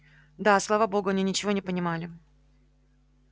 да слава богу они ничего не понимали